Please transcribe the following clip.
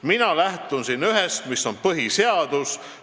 Mina lähtun siin ühest – põhiseadusest.